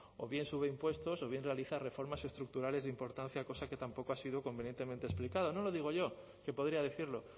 o bien sube impuestos o bien realiza reformas estructurales de importancia cosa que tampoco ha sido convenientemente explicado no lo digo yo que podría decirlo